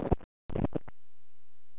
Að því rekur í öðru skrifi síðar.